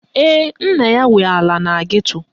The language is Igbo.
Ee, nna ya nwe ala na geto